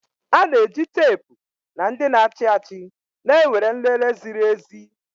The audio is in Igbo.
A na-eji teepu na ndị na-achị achị na-ewere nlele ziri ezi